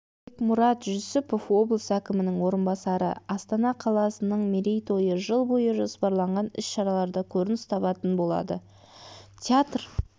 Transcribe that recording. бекмұрат жүсіпов облыс әкімінің орынбасары астана қаласыны мерейтойы жыл бойы жоспарланған іс-шалаларда көрініс табатын болады театр